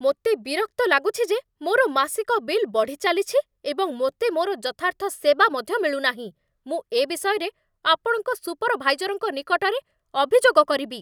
ମୋତେ ବିରକ୍ତ ଲାଗୁଛି ଯେ ମୋର ମାସିକ ବିଲ୍ ବଢ଼ିଚାଲିଛି, ଏବଂ ମୋତେ ମୋର ଯଥାର୍ଥ ସେବା ମଧ୍ୟ ମିଳୁନାହିଁ। ମୁଁ ଏ ବିଷୟରେ ଆପଣଙ୍କ ସୁପରଭାଇଜରଙ୍କ ନିକଟରେ ଅଭିଯୋଗ କରିବି।